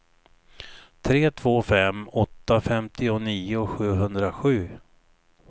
tre två fem åtta femtionio sjuhundrasju